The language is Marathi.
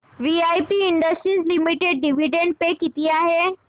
VIP industries limited dividend pay किती आहे